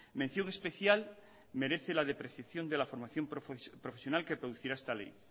mención especial merece la depreciación de la formación profesional que producirá esta ley